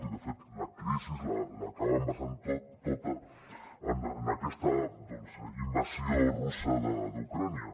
i de fet la crisi l’acaben basant tota en aquesta invasió russa d’ucraïna